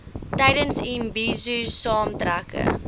tydens imbizo saamtrekke